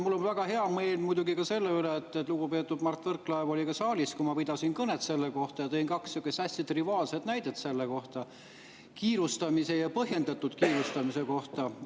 Mul on väga hea meel selle üle, et lugupeetud Mart Võrklaev oli saalis, kui ma pidasin kõnet selle kohta, ja tõin kaks hästi triviaalset näidet kiirustamise ja põhjendatud kiirustamise kohta.